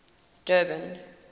durban